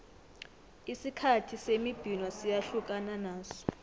isikhathi semibhino siyahlukana naso